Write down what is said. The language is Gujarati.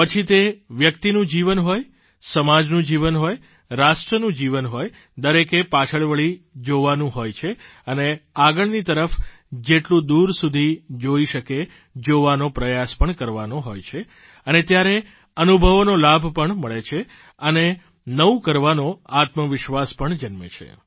પછી તે વ્યક્તિનું જીવન હોય સમાજનું જીવન હોય રાષ્ટ્રનું જીવન હોય દરેકે પાછળ વળી જોવાનું પણ હોય છે અને આગલની તરફ જેટલું દૂર સુધી જોઇ શકે જોવાનો પ્રયાસ પણ કરવાનો હોય છે અને ત્યારે અનુભવોનો લાભ પણ મળે છે અને નવું કરવાનો આત્મવિશ્વાસ પણ જન્મે છે